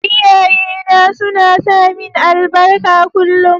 Iyaye na suna samin albarka kullum.